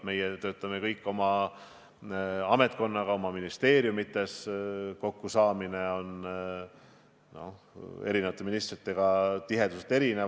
Meie töötame kõik oma ametkonnaga oma ministeeriumites, eri ministritega kokkusaamise tihedus on erinev.